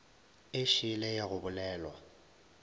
e šele ya go bolelwa